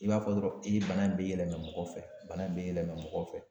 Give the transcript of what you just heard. I b'a fɔ dɔrɔn i bana in bɛ yɛlɛma mɔgɔ fɛ, bana in bɛ yɛlɛma mɔgɔ fɛ.